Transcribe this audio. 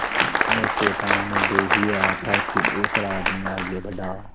मैं चेतावनी दे ही रहा था कि दूसरा आदमी आगे बढ़ा